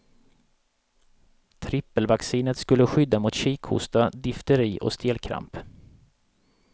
Trippelvaccinet skulle skydda mot kikhosta, difteri och stelkramp.